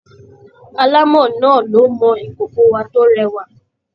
Alámọ̀ náà ló mọ ìkòkòwa tó rẹwà.